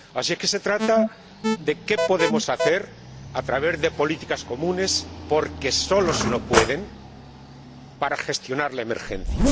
Así que se trata de qué podemos hacer, a través de políticas comunes porque solos no pueden para gestionar la emergencia.